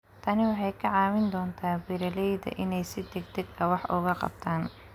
Tani waxay ka caawin doontaa beeralayda inay si degdeg ah wax uga qabtaan.